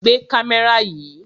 Gbé kámẹ́rà yìí!